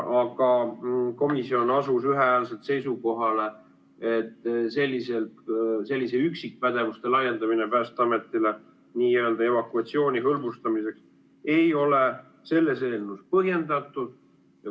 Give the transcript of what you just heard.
Aga komisjon asus ühehäälselt seisukohale, et selliselt üksikpädevuste laiendamine Päästeametile evakuatsiooni hõlbustamiseks ei ole selles eelnõus põhjendatud.